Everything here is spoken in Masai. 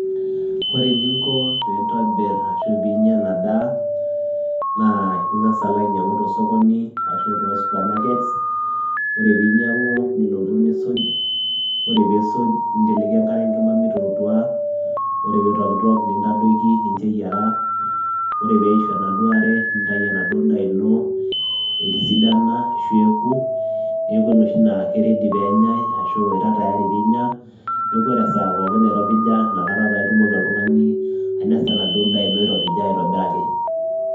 Ore eninko piintobir ashu piinya ena daa naa ing'asa alo ainyang'u to sokoni ashu too supermarkets, ore piinyang'u nilotu nisuj ore piisuj ninteleki enkare enkima mitootua. Ore piitokitok nintadoiki nincho eyiara, ore peishu enaduo are nintayu enaduo daa ino etisidana ashu eeku neeku enoshi naa ke ready peenyai ashu etaa tayari piinya. Neeku ore esaa pookin nairopija inakata taa itumoki oltung'ani ainasa enaduo daa ino iropija aitobiraki.